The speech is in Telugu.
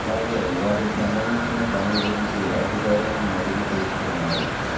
అ లాగే వాటికి సంబంధించిన పనుల గురించి అధికారులను అడిగి తెలుసుకున్నారు